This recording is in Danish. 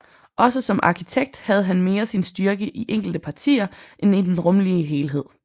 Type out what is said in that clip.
Også som arkitekt havde han mere sin styrke i enkelte partier end i den rumlige helhed